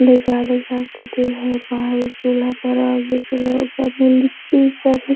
रिझा रिझा के दे हेय बाहरी चूल्हा पर आब ----